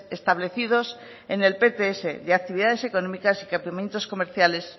establecidos en el pts de actividades económicas y equipamientos comerciales